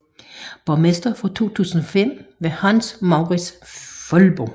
Borgmester fra 2005 var Hans Mourits Foldbo